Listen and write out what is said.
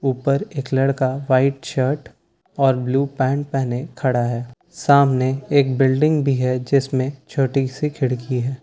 ऊपर एक लड़का व्हाइट शर्ट और ब्लू पैंट पहने खड़ा है सामने एक बिल्डिंग भी है जिसमें छोटी सी खिड़की है।